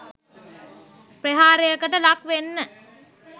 ප්‍රහාරයකට ලක් වෙන්න